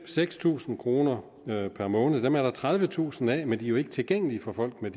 seks tusind kroner om måneden dem er der tredivetusind af men de er ikke tilgængelige for folk med